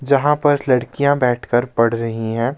जहां पर लड़कियां बैठकर पढ़ रही हैं.